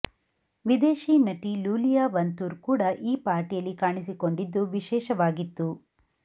ವಿದೇಶಿ ನಟಿ Iulia Vantur ಕೂಡ ಈ ಪಾರ್ಟಿಯಲ್ಲಿ ಕಾಣಿಸಿಕೊಂಡಿದ್ದು ವಿಶೇಷವಾಗಿತ್ತು